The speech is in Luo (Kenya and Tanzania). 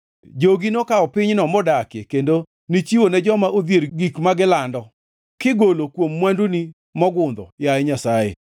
Jogi nokawo pinyno modakie kendo nichiwo ne joma odhier gik ma gilando, kigolo kuom mwanduni mogundho, yaye Nyasaye.